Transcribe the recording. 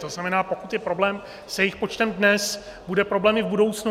To znamená, pokud je problém s jejich počtem dnes, bude problém i v budoucnu.